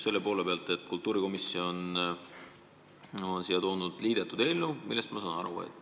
Sellest, et kultuurikomisjon on siia toonud liidetud eelnõu, ma saan aru.